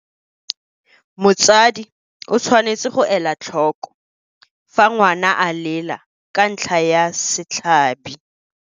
Motsadi o tshwanetse go ela tlhoko fa ngwana a lela ka ntlha ya setlhabi.